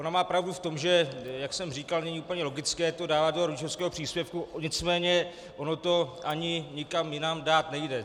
Ona má pravdu v tom, jak už jsem říkal, není úplně logické to dávat do rodičovského příspěvku, nicméně ono to ani nikam jinam dát nejde.